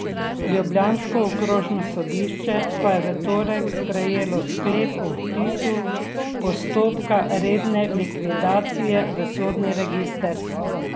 Ljubljansko okrožno sodišče pa je v torek sprejelo sklep o vpisu postopka redne likvidacije v sodni register.